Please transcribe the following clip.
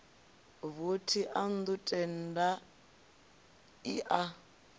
vothi ḽa nnḓu tendai a